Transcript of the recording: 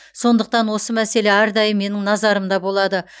сондықтан осы мәселе әрдайым менің назарымда болады